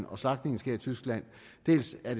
og slagtningen sker i tyskland dels er